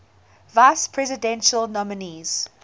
vice presidential nominees